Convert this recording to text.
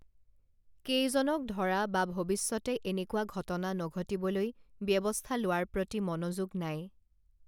কেইজনক ধৰা বা ভৱিষ্যতে এনেকুৱা ঘটনা নঘটিবলৈ ব্যৱস্থা লোৱাৰ প্ৰতি মনোযোগ নাই